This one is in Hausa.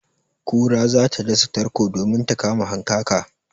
Kura za ta dasa tarko domin ta kama hankaka.